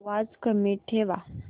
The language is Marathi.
आवाज कमी ठेवा